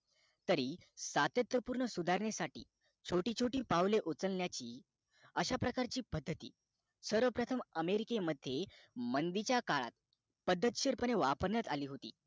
तरी सात्यत्य पूर्ण सुधारण्या साठी छोटी छोटी पावले उचलण्याची अश्या प्रकारची पद्धती सर्व प्रथम america मध्ये मंदी च्या काळात पद्धशीर पणे वापरण्यात अली होती